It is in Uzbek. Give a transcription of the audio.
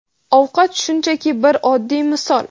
Ovqat shunchaki bir oddiy misol.